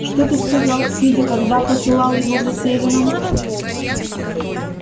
что ты сказал спиди когда посылал его за селеном